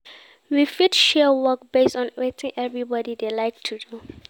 We fit share work based on wetin everybody dey like to do